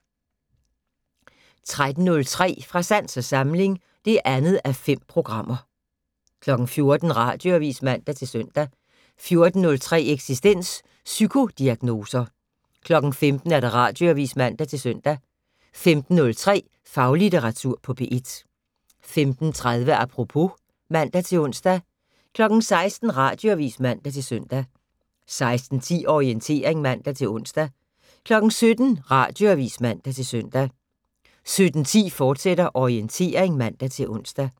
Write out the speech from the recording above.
13:03: Fra sans og samling (2:5) 14:00: Radioavis (man-søn) 14:03: Eksistens: Psykodiagnoser 15:00: Radioavis (man-søn) 15:03: Faglitteratur på P1 15:30: Apropos (man-ons) 16:00: Radioavis (man-søn) 16:10: Orientering (man-ons) 17:00: Radioavis (man-søn) 17:10: Orientering, fortsat (man-ons)